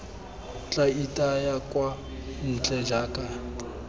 tla itaya kwa ntle jaaka